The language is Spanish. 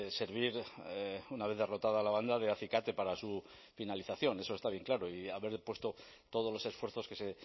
servir una vez derrotada la banda de acicate para su finalización eso está bien claro y haber puesto todos los esfuerzos que se